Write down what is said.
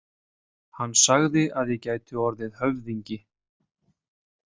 Hann sagði að ég gæti orðið höfðingi